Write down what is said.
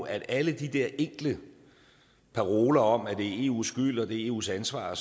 at alle de der enkle paroler om at det er eus skyld og at det er eus ansvar